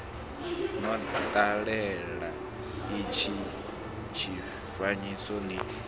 no ṱalela itsho tshifanyiso ni